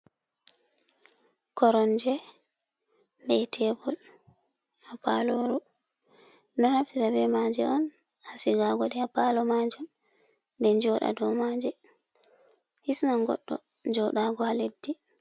Koronje be tebol ha paloru. Ɗonaftira be maje on hasigago de a palo maju. Ɓe joda do maje hisna goddo jodago ha leddi.